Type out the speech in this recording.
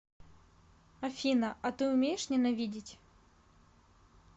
афина а ты умеешь ненавидеть